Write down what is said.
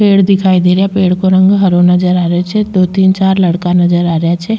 पेड़ दिखाई दे रा पेड़ का रंग हरो नज़र आ रेहो छे दो तीन चार लड़का नजर आ रेहा छे।